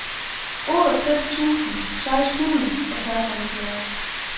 otteogtres tusind seks hundrede og seksoghalvfjerds